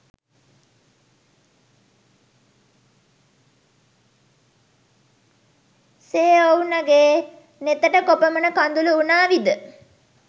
සේඔව්නගෙ නෙතට කොපමන කදුලු උනාවිද